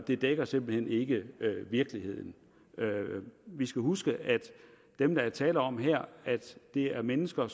det dækker simpelt hen ikke virkeligheden vi skal huske at dem der er tale om her er mennesker